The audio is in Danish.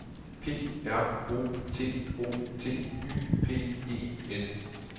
P R O T O T Y P E N